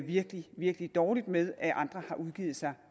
virkelig virkelig dårligt med at andre har udgivet sig